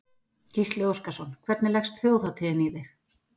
Gísli Óskarsson: Hvernig leggst þjóðhátíðin í þig?